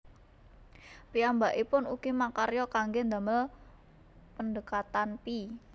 Piyambakipun ugi makarya kangge ndamel pendhekatan pi